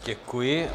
Děkuji.